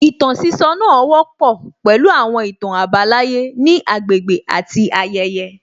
Ìtàn sísọ náà wọ́pọ̀ pẹ̀lú àwọn ìtàn àbálàyé ní agbègbè àti ayẹyẹ